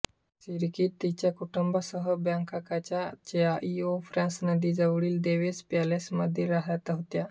Sirikit तिच्या कुटुंबासह बँकॉकच्या चाओ फ्राया नदीजवळील देवेज पॅलेसमध्ये राहत होत्या